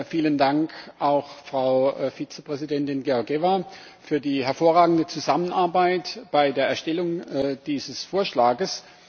Vielen Dank auch Frau Vizepräsidentin Georgieva für die hervorragende Zusammenarbeit bei der Erstellung dieses Vorschlages.